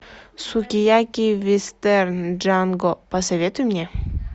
сукияки вестерн джанго посоветуй мне